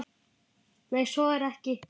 Nei, svo er ekki.